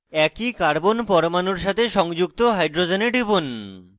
একই carbon পরমাণুর সাথে সংযুক্ত hydrogens টিপুন